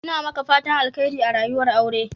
Ina maka fatan Alkhairi a rayuwar aure.